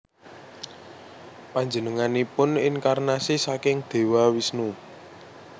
Panjenenganipun inkarnasi saking Dewa Wisnu